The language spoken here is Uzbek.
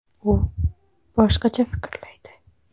U boshqacha fikrlaydi.